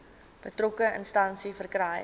betrokke instansie verkry